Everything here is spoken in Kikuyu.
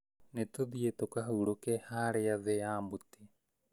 Nĩtũthiĩ tũkahurũke harĩa thĩ ya mũtĩ